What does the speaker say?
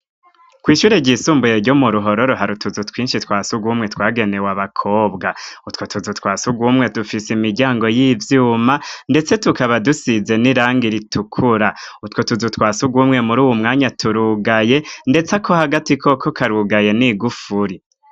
Kw'ishure ryisumbuye ryo mu Ruhoro hari utuzu twinshi twa surwumwe twagenewe abakobwa. Utwo tuzu twa surwumwe dufise imiryango y'ivyuma, ndetse tukaba dusize n'irang iritukura. Utwo tuzu twa surwumwemuri uwu mwanya turugaye, ndetse ako hagati koko karugaye n'igufuri.